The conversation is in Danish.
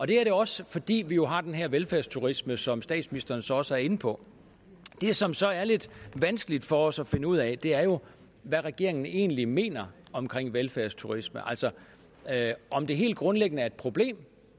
det også fordi vi jo har den her velfærdsturisme som statsministeren så også er inde på det som så er lidt vanskeligt for os at finde ud af er jo hvad regeringen egentlig mener om velfærdsturisme altså om det helt grundlæggende er et problem